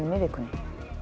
í vikunni